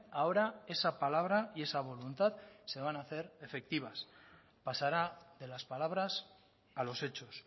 ahora esa palabra y esa voluntad se van a hacer efectivas pasará de las palabras a los hechos